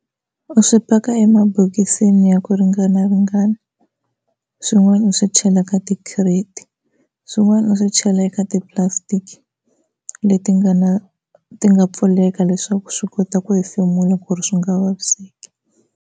U swi paka emabokisini ya ku ringanaringana swin'wana u swi chela ka tikhireti, swin'wana u swi chela eka ti-plastic leti nga na ti nga pfuleka leswaku swi kota ku hefemula ku ri swi nga vaviseki.